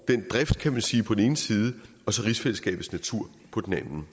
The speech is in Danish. den drift kan man sige på den ene side og så rigsfællesskabets natur på den anden